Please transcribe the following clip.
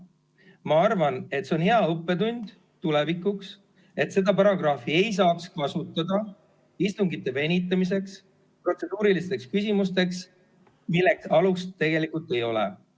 Ma arvan, et see on hea õppetund tulevikuks, et seda paragrahvi ei saaks kasutada istungite venitamiseks, protseduurilisteks küsimusteks, millel tegelikult alust ei ole.